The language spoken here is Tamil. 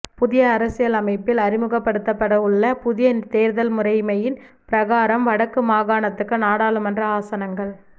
புதிய அரசியலமைப்பில் அறிமுகப்படுத்தப்படவுள்ள புதிய தேர்தல் முறைமையின் பிரகாரம் வடக்கு மாகாணத்துக்கு நாடாளுமன்ற ஆசனங்கள்